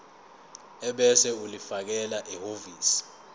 ebese ulifakela ehhovisi